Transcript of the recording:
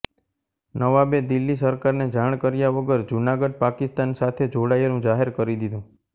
નવાબે દિલ્લી સરકારને જાણ કર્યા વગર જૂનાગઢ પાકિસ્તાન સાથે જોડાયેલું જાહેર કરી દીધું